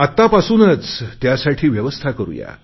आतापासूनच त्यासाठी व्यवस्था करुया